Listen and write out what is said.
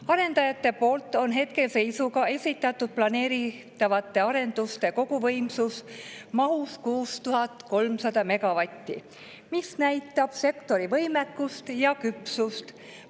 Arendajad on hetkeseisuga esitanud planeeritavaid arendusi koguvõimsusega 6300 megavatti, mis näitab sektori võimekust ja küpsust.